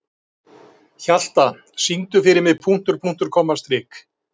Þá yrði tilvísunin hér á undan sem hér segir: